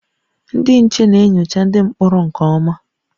Ndị nche na-enyocha ndị mkpọrọ nke ọma